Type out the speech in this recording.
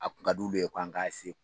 A kun ka d'ulu ye k'an k'a ese